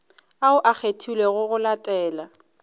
ao a kgethilwego go latela